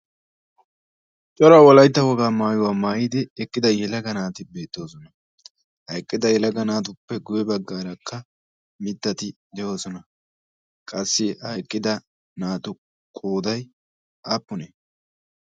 cora wolaytta wogaa maayuwaa maayidi eqqida elaga naati beettoosona. ha eqqida helaga naatuppe guye baggaarakka mittati de'oosona. Qassi ha eqqida naatu kooday aappunee?